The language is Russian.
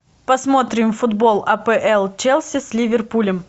посмотрим футбол апл челси с ливерпулем